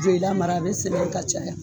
Joyila mara a bɛ sɛnɛ ye ka caya